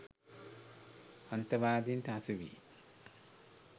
අන්තවාදීන්ට හසු වී